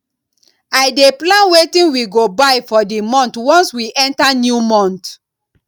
i dey plan wetin we go buy for di month once we enta new month